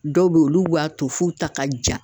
Dɔw be yen olu b'a to f'u ta ka ja.